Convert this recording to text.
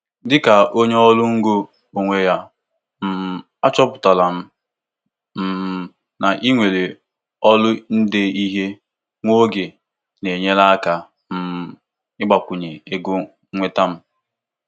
Ọtụtụ ndị nweere onwe ha na-atụle iwetekwu ọrụ ndị ọzọ n'oge ọnwa ụtụ isi na-adịghị ngwa ngwa maka iji kwalite ego mwete.